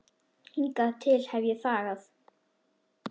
Hingað til hef ég þagað.